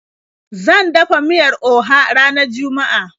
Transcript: Zan dafa miyar Oha ranar juma'a.